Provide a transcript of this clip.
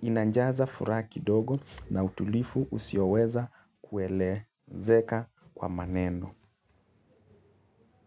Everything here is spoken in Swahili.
inanjaza fura kidogo na utulifu usioweza kuelezeka kwa maneno.